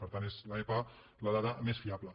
per tant és l’epa la dada més fiable